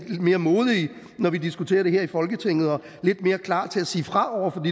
mere modige når vi diskuterer det her i folketinget og er lidt mere klar til at sige fra over for